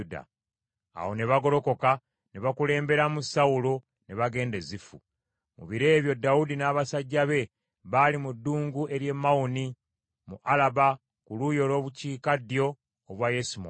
Awo ne bagolokoka ne bakulemberamu Sawulo ne bagenda e Zifu. Mu biro ebyo Dawudi n’abasajja be baali mu ddungu ery’e Mawoni mu Alaba ku luuyi olw’obukiikaddyo obwa Yesimoni.